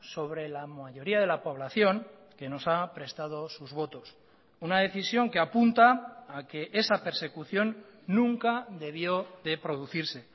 sobre la mayoría de la población que nos ha prestado sus votos una decisión que apunta a que esa persecución nunca debió de producirse